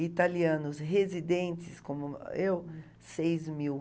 E italianos residentes, como eu, seis mil.